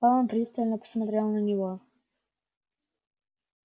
кэлвин пристально посмотрела на него